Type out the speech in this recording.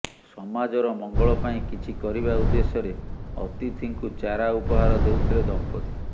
ସମାଜର ମଙ୍ଗଳ ପାଇଁ କିଛି କରିବା ଉଦ୍ଦେଶ୍ୟରେ ଅତିଥିଙ୍କୁ ଚାରା ଉପହାର ଦେଉଥିଲେ ଦମ୍ପତି